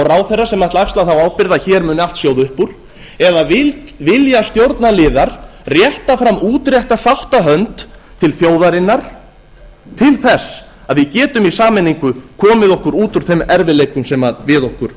ráðherrar sem ætla að axla þá ábyrgð að hér muni allt sjóða upp úr eða vilja stjórnarliðar rétta fram útrétta sáttahönd til þjóðarinnar til þess að við getum í sameiningu komið okkur út úr þeim erfiðleikum sem við okkur